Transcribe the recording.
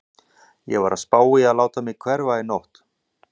Ég var að spá í að láta mig hverfa í nótt.